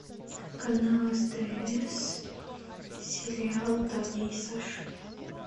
канал стс сериал таня и саша